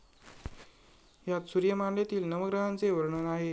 यात सूर्यमालेतील नवग्रहांचे वर्णन आहे.